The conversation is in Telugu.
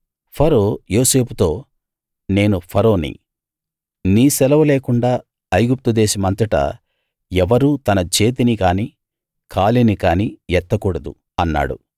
ఫరో యోసేపుతో నేను ఫరోని నీ సెలవు లేకుండా ఐగుప్తు దేశమంతటా ఎవరూ తన చేతిని కానీ కాలిని కానీ ఎత్తకూడదు అన్నాడు